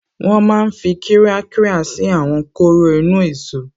Wọ́n máa n fi kírákírà ṣí àwọn kóró inú-èsó